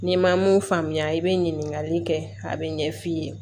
N'i ma mun faamuya i bɛ ɲininkali kɛ a bɛ ɲɛ f'i ye